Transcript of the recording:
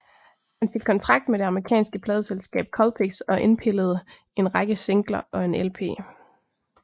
Han fik kontrakt med det amerikanske pladeselskab Colpix og indpillede en række singler og en lp